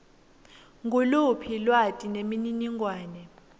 nguluphi lwati nemininingwane